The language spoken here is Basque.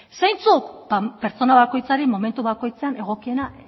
zeintzuk ba pertsona bakoitzari momentu bakoitzean egokiena